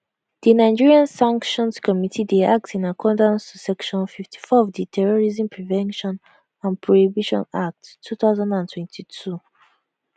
di nigeria sanctions committee dey act in accordance to section 54 of di terrorism prevention and prohibition act 2022